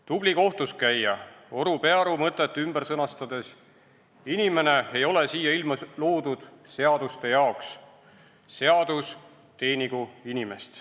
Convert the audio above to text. Tubli kohtuskäija Oru Pearu mõtet ümber sõnastades: inimene ei ole siia ilma loodud seaduste jaoks, seadus teenigu inimest.